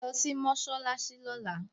Mú mi lọ sí mọ́ṣáláṣí lọ́la.